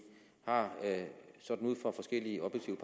har sådan ud fra forskellige objektive